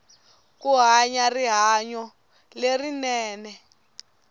ku hanya rihanyu lerinene